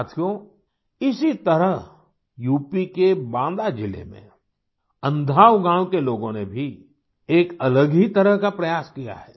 साथियों इसी तरह यूपी के बाँदा ज़िले में अन्धाव गाँव के लोगों ने भी एक अलग ही तरह का प्रयास किया है